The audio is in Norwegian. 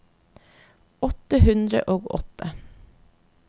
åtte hundre og åtte